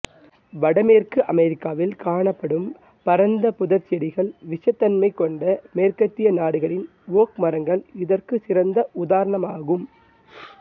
வட மேற்கு அமெரிக்காவில் காணப்படும் பரந்த புதர்செடிகள் விஷத்தன்மைக் கொண்ட மேற்கத்திய நாடுகளின் ஓக் மரங்கள் இதற்கு சிறந்த உதாரணமாகும்